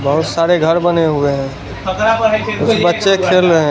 बहुत सारे घर बने हुए हैं कुछ बच्चे खेल रहे हैं।